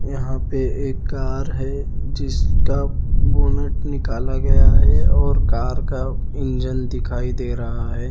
यहाँ पे एक कार है जिसका बोनट निकाला गया है और कार का इंजन दिखाई दे रहा है।